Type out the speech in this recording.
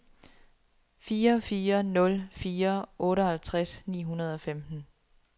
fire fire nul fire otteoghalvtreds ni hundrede og femten